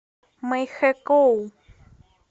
мэйхэкоу